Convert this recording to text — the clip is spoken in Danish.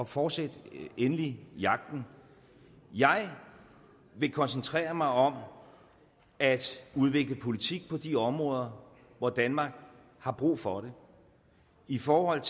fortsæt endelig jagten jeg vil koncentrere mig om at udvikle politik på de områder hvor danmark har brug for det i forhold